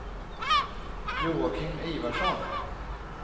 Joakim Ivarsson